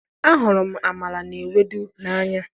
ahụrụ m amala na ewedu n'anya.